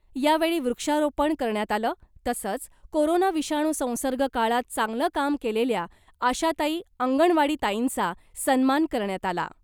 यावेळी वृक्षारोपण करण्यात आलं , तसंच कोरोना विषाणू संसर्ग काळात चांगलं काम केलेल्या आशाताई , अंगणवाडीताईंचा सन्मान करण्यात आला .